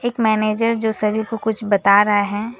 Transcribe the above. Manager जो सभी को कुछ बता रहा है।